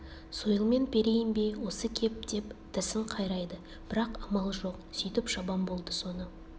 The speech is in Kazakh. сойылмен перейін бе осы кеп деп тісін қайрайды бірақ амалы жоқ сүйтіп шабан болды соны